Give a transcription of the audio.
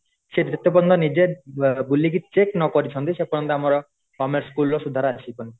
ସେ ଯେତେ ପର୍ଯ୍ୟନ୍ତ ନିଜେ ବୁଲିକି ଚେକ ନ କରିଛନ୍ତି ସେ ପର୍ଯ୍ୟନ୍ତ ଆମର government school ର ସୁଧାର ଆସିବନି